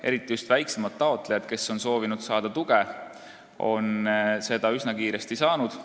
Eriti just väiksemad taotlejad, kes on soovinud saada tuge, on seda üsna kiiresti saanud.